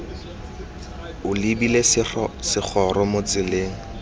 o lebile segoro mo tseleng